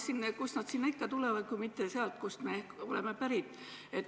Kust need ikka tulevad, kui mitte sealt, kust me oleme pärit.